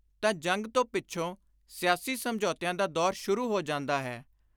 ਤਾਂ ਜੰਗ ਤੋਂ ਪਿੱਛੋਂ ਸਿਆਸੀ ਸਮਝੌਤਿਆਂ ਦਾ ਦੌਰ ਸ਼ੁਰੂ ਹੋ ਜਾਂਦਾ ਹੈ